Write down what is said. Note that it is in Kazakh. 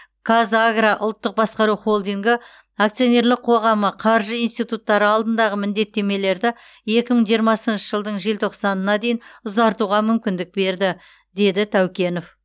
қазагро ұлттық басқару холдингі акционерлік қоғамы қаржы институттары алдындағы міндеттемелерді екі мың жиырмасыншы жылдың желтоқсанына дейін ұзартуға мүмкіндік берді деді тәукенов